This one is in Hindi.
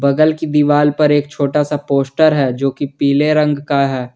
बगल की दीवाल पर एक छोटा सा पोस्टर है जो की पीले रंग का है।